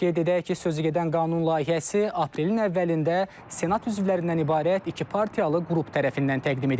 Qeyd edək ki, sözügedən qanun layihəsi aprelin əvvəlində Senat üzvlərindən ibarət iki partiyalı qrup tərəfindən təqdim edilib.